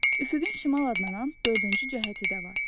Üfüqün şimal adlanan dördüncü cəhəti də var.